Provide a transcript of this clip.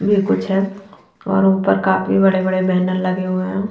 भी कुछ है और ऊपर काफी बड़े बड़े बैनर लगे हुए है।